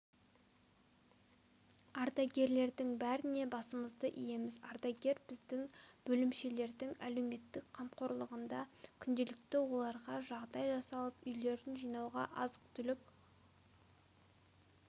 ардагерлердің бәріне басымызды иеміз ардагер біздің бөлімшелердің әлеуметтік қамқорлығында күнделікті оларға жағдай жасалып үйлерін жинауға азық-түлік